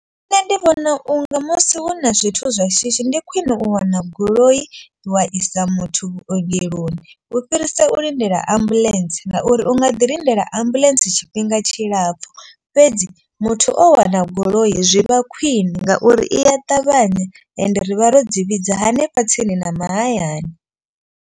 Nṋe ndi vhona unga musi hu na zwithu zwa shishi ndi khwine u wana goloi wa isa muthu vhuongeloni. U fhirisa u lindela ambuḽentse ngauri u nga ḓi lindela ambuḽentse tshifhinga tshilapfhu. Fhedzi muthu o wana goloi zwi vha khwine ngauri iya ṱavhanya ende rivha ro dzi vhidza hanefha tsini na mahayani.